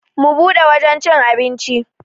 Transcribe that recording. Mu bude wajan cin abinci.